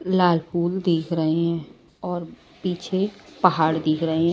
लाल फूल देख रहे हैं और पीछे पहाड़ दिख रहे हैं।